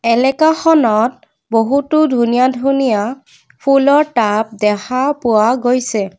এলেকাখনত বহুতো ধুনীয়া ধুনীয়া ফুলৰ টাব দেখা পোৱা গৈছে।